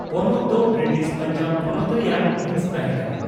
ᱯᱚᱱᱚᱛ ᱫᱚ ᱵᱨᱤᱴᱤᱥ ᱯᱟᱧᱡᱟᱵᱽ ᱯᱚᱱᱚᱛ ᱨᱮᱭᱟᱜ ᱦᱤᱸᱥ ᱛᱟᱦᱮᱸ ᱠᱟᱱᱟ ᱾